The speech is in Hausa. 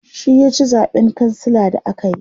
shi ya ci zaɓen kansila da akayi